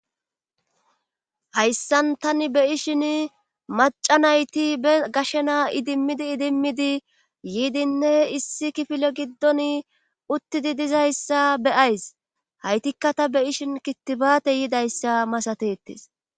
hayssan tani be ishin maca nayti be gashshena idimmidi idimmidi yiidinne issi kifile giddon uttidi dizayssa beyays haytikka ta be ishin kitibaate yidayssa masatetes